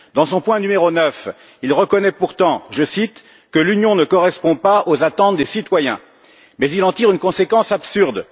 À son point n° 9, il reconnaît pourtant que l'Union ne correspond pas aux attentes des citoyens, mais il en tire une conséquence absurde.